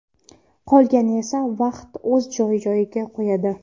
Qolganini esa vaqt joy-joyiga qo‘yadi.